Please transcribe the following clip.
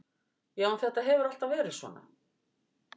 Já en þetta hefur alltaf verið svona.